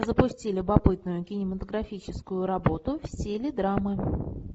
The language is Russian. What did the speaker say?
запусти любопытную кинематографическую работу в стиле драмы